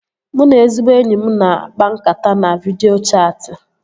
Mụ na ezigbo enyi m na-akpa nkata na vidịo chatị